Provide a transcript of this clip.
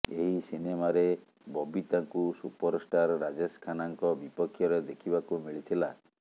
ଏହି ସିନେମାରେ ବବିତାଙ୍କୁ ସୁପରଷ୍ଟାର୍ ରାଜେଶ ଖାନ୍ନାଙ୍କ ବିପକ୍ଷରେ ଦେଖିବାକୁ ମିଳିଥିଲା